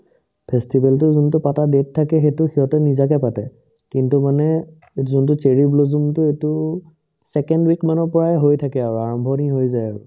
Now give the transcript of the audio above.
festival তো যোনতো পাতা date থাকে সেইতো সিহঁতে নিজাকে পাতে কিন্তু মানে যোনতো cherry blossom তো এইটো second week মানৰ পৰাই হৈ থাকে আৰু আৰম্ভণি হৈ যায় আৰু